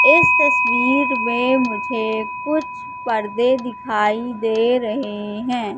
इस तस्वीर में मुझे कुछ पर्दे दिखाई दे रहे हैं।